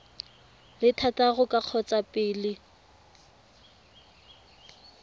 le thataro ka kgotsa pele